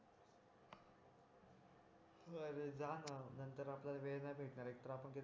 बर जा ना नंतर आपल्याला वेळ नि भेटणार एक तर आपण